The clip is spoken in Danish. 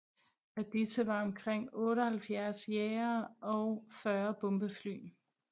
Af disse var omkring 78 jagere og 40 bombefly